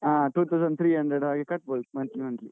ಹಾ two thousand three hundred ಹಾಗೆ ಕಟ್ಬೋದು month ಲೀ month ಲೀ.